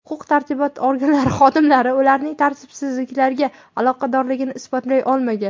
Huquq-tartibot organlari xodimlari ularning tartibsizliklarga aloqadorligini isbotlay olmagan.